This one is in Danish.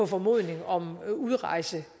formodning om udrejse